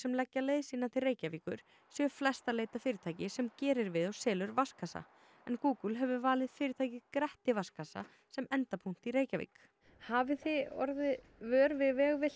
leggja leið sína til Reykjavíkur séu flest að leita að fyrirtæki sem gerir við og selur vatnskassa en Google hefur valið fyrirtækið Gretti vatnskassa sem endapunkt í Reykjavík hafið þið orðið vör við